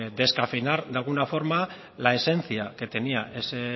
descafeinar de alguna forma la esencia que tenía ese